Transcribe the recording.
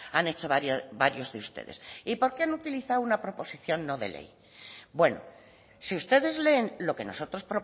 han hecho varios de ustedes y por qué han utilizado una proposición no de ley bueno si ustedes leen lo que nosotros